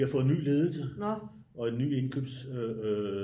Vi har fået ny ledelse og ny indkøbs øh